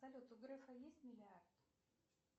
салют у графа есть миллиард